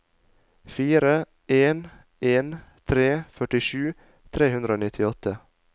fire en en tre førtisju tre hundre og nittiåtte